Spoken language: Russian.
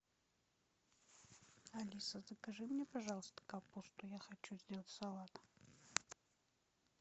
алиса закажи мне пожалуйста капусту я хочу сделать салат